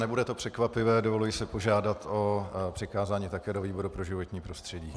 Nebude to překvapivé, dovoluji si požádat o přikázání také do výboru pro životní prostředí.